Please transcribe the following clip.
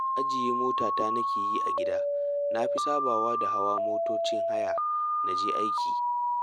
Ajiye motata nake yi a gida, na fi sabawa da hawa motocin haya na je aiki